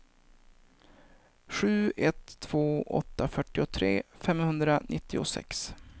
sju ett två åtta fyrtiotre femhundranittiosex